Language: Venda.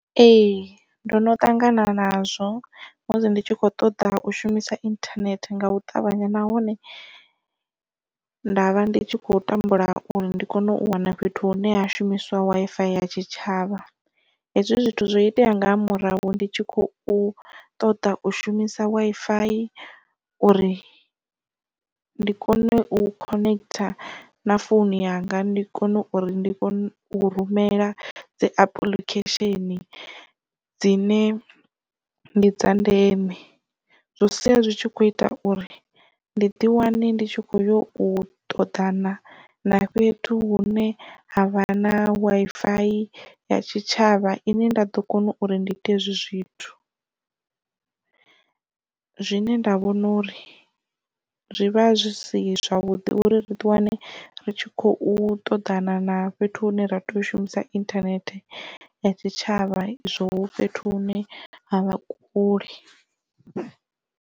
Ee ndono ṱangana nazwo musi ndi tshi kho ṱoḓa u shumisa inthanethe nga u ṱavhanya nahone nda vha ndi tshi khou tambula uri ndi kone u wana fhethu hune ha shumisiwa Wi-Fi ya tshitshavha. Hezwi zwithu zwo itea nga ha murahu ndi tshi khou ṱoḓa ushumisa Wi-Fi uri ndi kone u connect na founu yanga ndi kone uri ndi kone u rumela dzi apuḽikhesheni dzine ndi dza ndeme zwi sia zwi tshi kho ita uri ndi ḓi wane ndi tshi kho yo u ṱoḓana na fhethu hune havha na Wi-Fi ya tshitshavha ine nda ḓo kona uri ndi ite hezwi zwithu zwine nda vhona uri zwi vha zwi si zwavhuḓi uri ri ḓi wane ri tshi khou ṱoḓana na fhethu hune ra tea u shumisa internet ya tshitshavha zwo fhethu hune ha vha kule.